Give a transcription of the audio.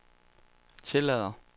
tillader